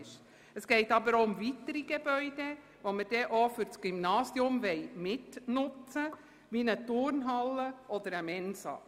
Zusätzlich geht es um weitere Gebäude, die vom Gymnasium mitbenutzt werden sollen wie beispielsweise eine Turnhalle oder eine Mensa.